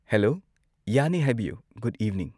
hello ꯌꯥꯅꯤ ꯍꯥꯏꯕꯤꯌꯨ good evening